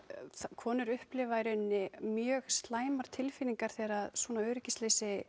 konur upplifa í rauninni mjög slæmar tilfinningar þegar svona öryggisleysi